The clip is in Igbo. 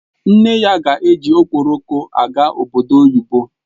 Nne ya ga-eji Okporoko aga obodo oyibo